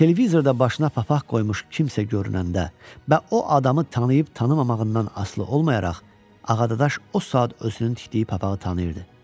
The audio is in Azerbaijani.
televizorda başına papaq qoymuş kimsə görünəndə və o adamı tanıyıb-tanımamağından asılı olmayaraq Ağadaş o saat özünün tikdiyi papağı tanıyırdı.